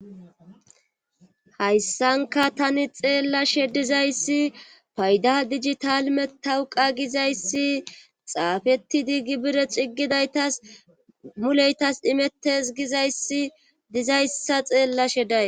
hayssanka tani xeellashe dizayssi payda dijital metawuqa gizayssi xaafettidi gibire ciggidaytas muleytas imettes gizayssi dizayssa xeellashe day